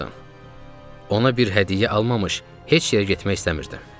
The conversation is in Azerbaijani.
Ona bir hədiyyə almamış heç yerə getmək istəmirdim.